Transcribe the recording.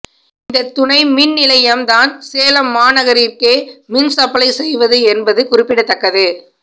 இந்த துணை மின் நிலையம் தான் சேலம் மாநகரதிற்கே மின்சப்ளை செய்வது என்பது குறிப்பிடத்தக்கது